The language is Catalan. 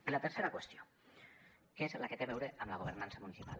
i la tercera qüestió que és la que té a veure amb la governança municipal